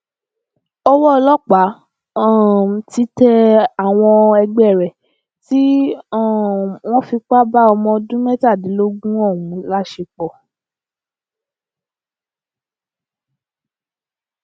owó ọlọpàá um ti tẹ àwọn ẹgbẹ rẹ tí um wọn fipá bá ọmọọdún mẹtàdínlógún ọhún láṣepọ